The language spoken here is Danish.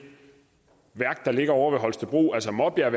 værk der ligger ovre ved holstebro altså maabjerg